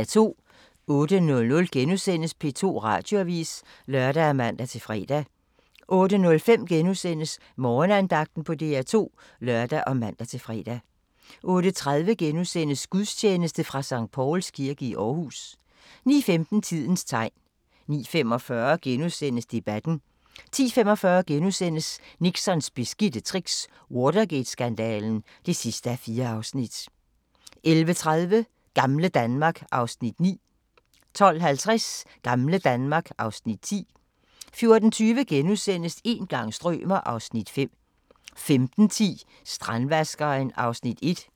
08:00: P2 Radioavis *(lør og man-fre) 08:05: Morgenandagten på DR2 *(lør og man-fre) 08:30: Gudstjeneste fra Skt. Pauls kirke i Aarhus * 09:15: Tidens tegn 09:45: Debatten * 10:45: Nixons beskidte tricks - Watergate-skandalen (4:4)* 11:30: Gamle Danmark (Afs. 9) 12:50: Gamle Danmark (Afs. 10) 14:20: Een gang strømer... (Afs. 5)* 15:10: Strandvaskeren (1:6)